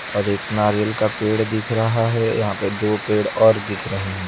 और एक नारियल का पेड़ दिख रहा हैं यहां पे दो पेड़ और दिख रहे हैं।